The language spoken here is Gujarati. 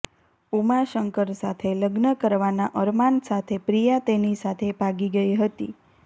ઉમાશંકર સાથે લગ્ન કરવાના અરમાન સાથે પ્રિયા તેની સાથે ભાગી ગઇ હતી